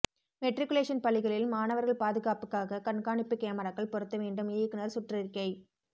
matriculation பள்ளிகளில் மாணவர்கள் பாதுகாப்புக்காக கண்காணிப்பு கேமராக்கள் பொருத்த வேண்டும் இயக்குனர் சுற்றறிக்கை